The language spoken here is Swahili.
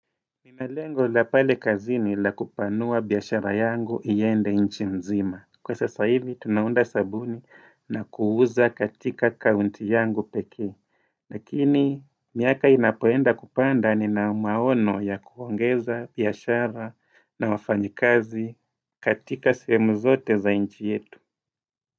Nina lengo la pale kazini la kupanua biashara yangu iende nchi mzima. Kwa sasa hivi, tunaunda sabuni na kuuza katika kaunti yangu pekee. Lakini, miaka inapoenda kupanda nina maono ya kuongeza biashara na wafanyikazi katika sehemu zote za nchi yetu.